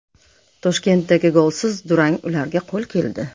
Toshkentdagi golsiz durang ularga qo‘l keldi.